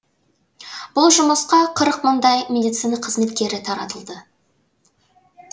бұл жұмысқа қырық мыңдай медицина қызметкері таратылды